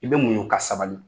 I bɛ muɲu ka sabali.